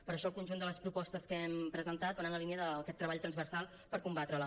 per això el conjunt de les propostes que hem presentat van en la línia d’aquest treball transversal per combatre la